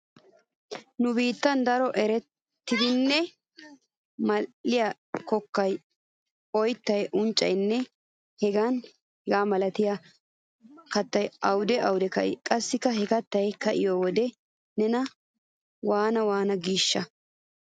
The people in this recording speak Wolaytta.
Nu biittan daro erettidanne mal"iya kokkay, oyttay, unccaynne heganne hega milatiya kattay awude awude ka'i? Qassi he kattay ka'iyo wode nena waana waana giishsha?